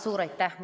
Suur aitäh!